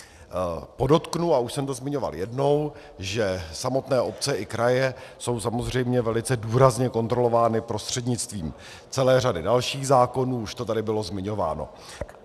Podotknu, a už jsem to zmiňoval jednou, že samotné obce i kraje jsou samozřejmě velice důrazně kontrolovány prostřednictvím celé řady dalších zákonů, už to tady bylo zmiňováno.